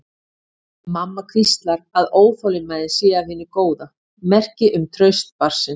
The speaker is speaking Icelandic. Mamma hvíslar að óþolinmæðin sé af hinu góða, merki um traust barnsins.